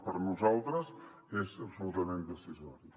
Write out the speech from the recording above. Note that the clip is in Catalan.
per nosaltres és absolutament decisori